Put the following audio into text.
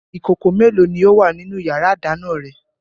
Ìkòkò mélòó ni ó wà nínú ìyàrá-ìdáná rẹ?